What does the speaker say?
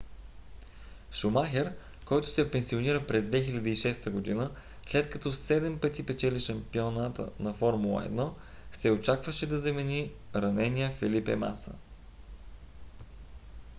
шумахер който се пенсионира през 2006 г. след като седем пъти спечели шампионата на формула 1 се очакваше да замени ранения фелипе маса